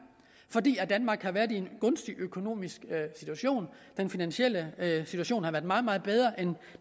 fordi danmark har været i en gunstig økonomisk situation den finansielle situation har været meget meget bedre end